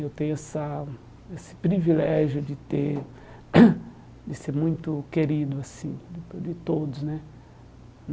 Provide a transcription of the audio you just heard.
Eu tenho essa esse privilégio de ter de ser muito querido assim de de todos né.